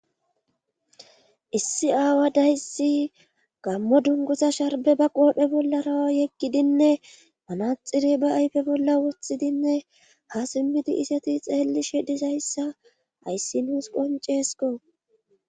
issi aawa dayssi gammo dunguza sharbe ba qoohphe bollara yeggidinne manaxire ba ayfe bolla woththidinne ha simmidi iseti xeelli shedizayssa ayssi nuus qonceesko